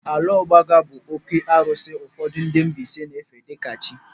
Alaọgbaga bụ oké arụsị ụfọdụ ndị Mbaise na-efe dịka chi.